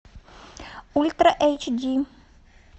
ультра эйч ди